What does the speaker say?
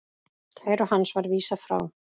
Kæru hans var vísað frá.